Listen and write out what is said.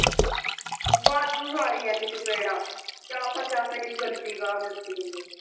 ਵਾਧੂ ਮਾਰੀਆਂ ਨੇ ਚਪੇੜਾਂ ਅਤੇ ਆਖਰ ਚ ਆ ਕੇ ਐਨੀ ਗੰਦੀ ਗਾਲ ਦਿੱਤੀ ਇਹਨੇ